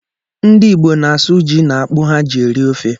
Ndị Igbo na-asụ ji na akpụ ha ji eri ofe.